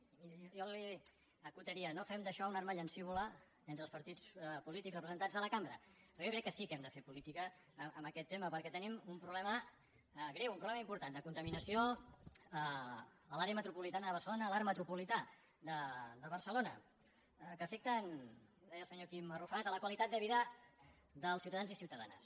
jo li acotaria no fem d’això una arma llancívola entre els partits polítics representats a la cambra però jo crec que sí que hem de fer política amb aquest tema perquè tenim un problema greu un problema important de contaminació a l’àrea metropolitana de barcelona a l’arc metropolità de barcelona que afecta ho deia el senyor quim arrufat la qualitat de vida dels ciutadans i ciutadanes